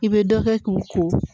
I bɛ dɔ kɛ k'u ko